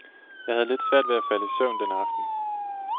Jeg havde lidt svært ved at falde i søvn den aften.